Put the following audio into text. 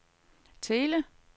Thele